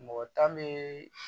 Mɔgɔ tan bee